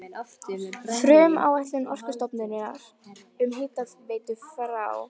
Frumáætlun Orkustofnunar um hitaveitu frá